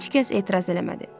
Heç kəs etiraz eləmədi.